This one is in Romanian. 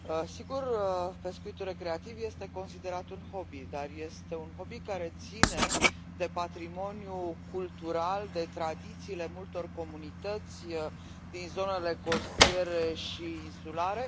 Sigur, pescuitul recreativ este considerat un hobby, dar este un hobby care ține de patrimoniul cultural, de tradițiile multor comunități din zonele costiere și insulare.